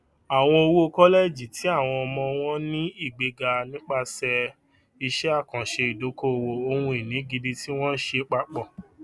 àwọn owó kọlẹjì ti àwọn ọmọ wọn ni igbega nípasẹ iṣẹ àkànṣe ìdókòowó ohunìní gidi tí wọn ṣe papọ